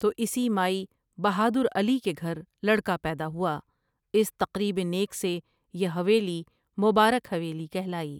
تو اسی مای بہادر علی کے گھر لڑکا پیدا ہوا اس تقریب نیک سے یہ حویلی مبارک حویلی کہلائی ۔